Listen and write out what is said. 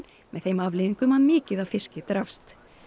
með þeim afleiðingum að mikið af fiski drapst